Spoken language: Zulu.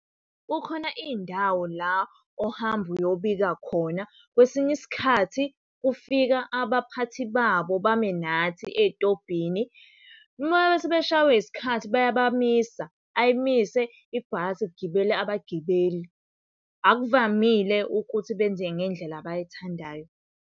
Kukhona iy'ndawo la ohamba uyobika khona, kwesinye isikhathi kufika abaphathi babo bame nathi ey'tobhini. Uma sebeshawe isikhathi bayabamisa, ayimise ibhasi kugibele abagibeli. Akuvamile ukuthi benze ngendlela abayithandayo.